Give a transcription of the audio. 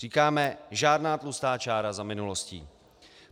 Říkáme žádná tlustá čára za minulostí.